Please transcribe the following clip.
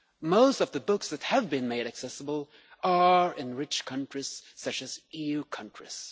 Most of the books that have been made accessible are in rich countries such as EU countries.